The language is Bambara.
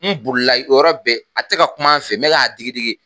N bolila i yɔrɔ bɛɛ a te ka kuma fɛ n me k'a digidigi